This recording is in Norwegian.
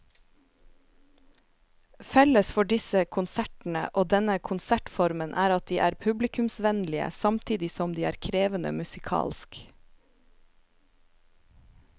Felles for disse konsertene og denne konsertformen er at de er publikumsvennlige samtidig som de er krevende musikalsk.